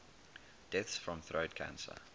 deaths from throat cancer